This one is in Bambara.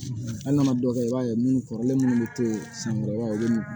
Hali n'a ma dɔ kɛ i b'a ye munnu kɔrɔlen munnu be to ye sankɔrɔ